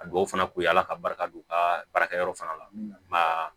A duw fana kun ye ala ka barika don u ka baarakɛyɔrɔ fana la maa